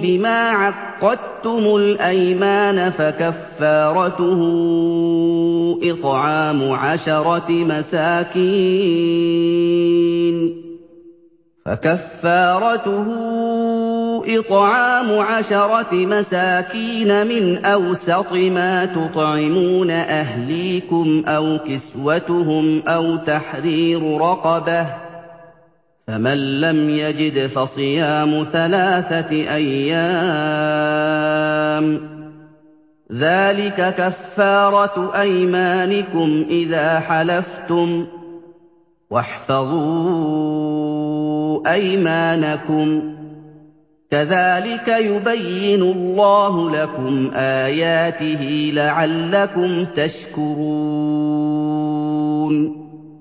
بِمَا عَقَّدتُّمُ الْأَيْمَانَ ۖ فَكَفَّارَتُهُ إِطْعَامُ عَشَرَةِ مَسَاكِينَ مِنْ أَوْسَطِ مَا تُطْعِمُونَ أَهْلِيكُمْ أَوْ كِسْوَتُهُمْ أَوْ تَحْرِيرُ رَقَبَةٍ ۖ فَمَن لَّمْ يَجِدْ فَصِيَامُ ثَلَاثَةِ أَيَّامٍ ۚ ذَٰلِكَ كَفَّارَةُ أَيْمَانِكُمْ إِذَا حَلَفْتُمْ ۚ وَاحْفَظُوا أَيْمَانَكُمْ ۚ كَذَٰلِكَ يُبَيِّنُ اللَّهُ لَكُمْ آيَاتِهِ لَعَلَّكُمْ تَشْكُرُونَ